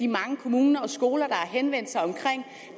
mange kommuner og skoler har henvendt sig om